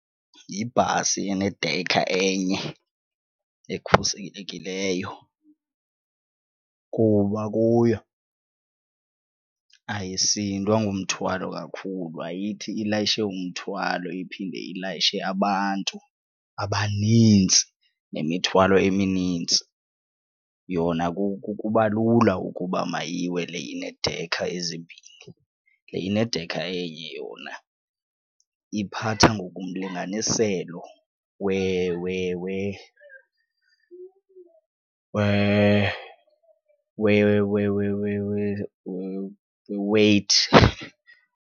Yibhasi enedekha enye ekhuselekileyo kuba kuyo ayisindwa ngumthwalo kakhulu ayithi ilayishe umthwalo iphinde ilayishe abantu abanintsi nemithwalo eminintsi. Yona kuba lula ukuba mayiwe le ineedekha ezimbini. Le inedekha enye yona iphatha ngokomlinganiselo weweyithi.